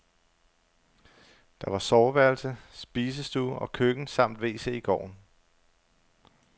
Der var soveværelse, spisestue og køkken samt wc i gården.